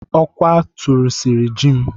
Ọkwa tụrịsịrị ji m.